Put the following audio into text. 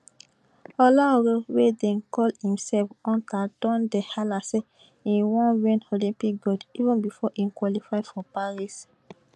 olaore wey dey call imself hunter don dey hala say im wan win olympic gold even bifor im qualify for paris